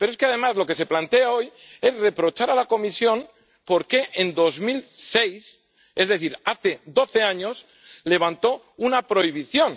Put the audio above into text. Pero es que, además, lo que se plantea hoy es reprochar a la Comisión que en 2006, es decir, hace doce años, levantara una prohibición.